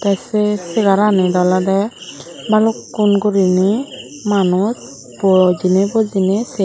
te se segarnit olode balukkon guriney manuj po bujine se.